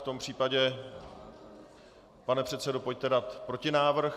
V tom případě, pane předsedo, pojďte dát protinávrh.